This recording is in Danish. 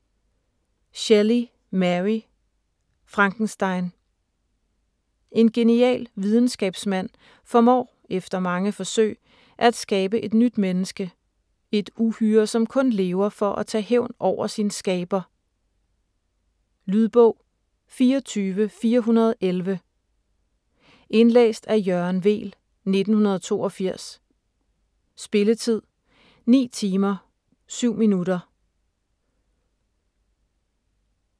Shelley, Mary: Frankenstein En genial videnskabsmand formår efter mange forsøg at skabe et nyt menneske - et uhyre, som kun lever for at tage hævn over sin skaber. Lydbog 24411 Indlæst af Jørgen Weel, 1982. Spilletid: 9 timer, 7 minutter.